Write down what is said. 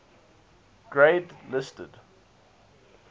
grade listed